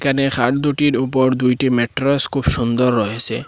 এখানে খাট দুটির উপর দুইটি ম্যাট্রেস খুব সুন্দর রয়েসে।